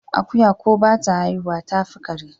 Akuya ko bata haihuwa tafi kare?